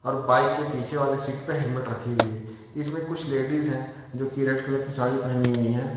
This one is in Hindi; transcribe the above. बाइक के पीछे वाले सीट पर हेलमेट रखे हुए इसमें कुछ लेडिस है जो की रेड कलर की साड़ी पहनी हुई है।